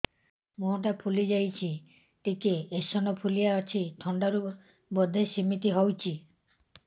ମୁହଁ ଟା ଫୁଲି ଯାଉଛି ଟିକେ ଏଓସିନୋଫିଲିଆ ଅଛି ଥଣ୍ଡା ରୁ ବଧେ ସିମିତି ହଉଚି